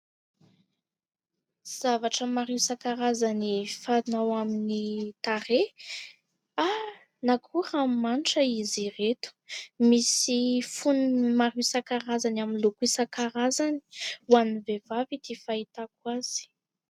Zavatra maro isan-karazany fanao amin'ny tarehy na koa ranomanitra izy ireto, misy fonony maro isan-karazany amin'ny loko isan-karazany ho an'ny vehivavy ity fahitako azy.